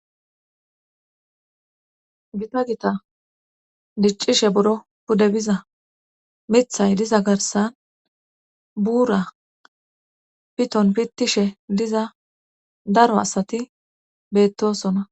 Gita gita diccishe boro pudde biza mithay diza garsan buura piton pittishe diza daro asati bettosona